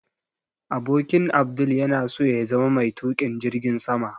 Abokin Abdul yana so ya zama mai tukin jirgin sama